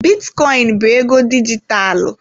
Bitcoin bụ ego dijitalụ.